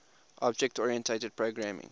object oriented programming